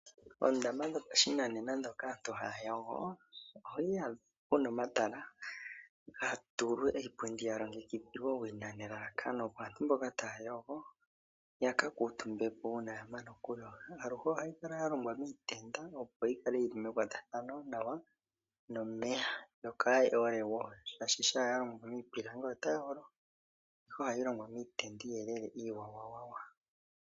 Oondama dhopashinanena moka aantu haya yogo oho adha pu na omatala ga tulwa iipundi ya longekidhilwa owina nelalakano opo aantu mboka taya yogo ya ka kuutumbe po uuna ya mana okuyoga. Aluhe ohayi kala ya longwa miitenda, opo yi kale mekwatathano nawa nomeya, yo kaayi ole wo, oshoka shampa ya longwa miipilangi otayi olo, ihe ohayi longwa miitenda iiyelele iiwawawawa.